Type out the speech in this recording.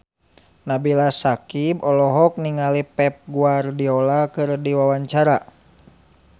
Nabila Syakieb olohok ningali Pep Guardiola keur diwawancara